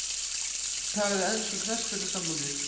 Tala við enska knattspyrnusambandið?